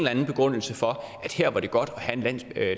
anden begrundelse for at her var det godt at have en